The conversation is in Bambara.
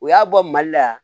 U y'a bɔ mali la yan